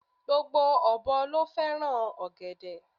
Gbogbo ọ̀bọ ló fẹ́ràn ọ̀gẹ̀dẹ̀